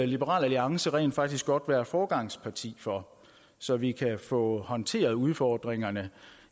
liberal alliance rent faktisk godt være foregangsparti for så vi kan få håndteret udfordringerne